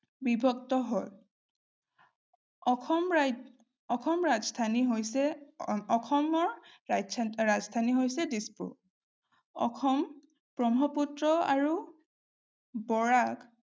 বিভক্ত হয়। অসমৰ ৰাজধানী হৈছে দিছপুৰ। অসম ব্ৰক্ষ্মপুত্ৰ আৰু বৰাক